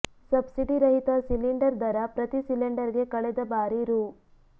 subsidy ರಹಿತ cylinder ದರ ಪ್ರತಿ ಸಿಲಿಂಡರ್ ಗೆ ಕಳೆದ ಬಾರಿ ರೂ